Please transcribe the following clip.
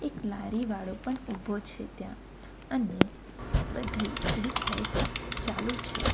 લારીવાળો પણ ઉભો છે ત્યાં અને બધી સ્ટ્રીટ લાઈટ ચાલુ છે.